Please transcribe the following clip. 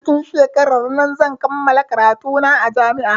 Cikin shekarar nan zan kammala karatu na a jami'a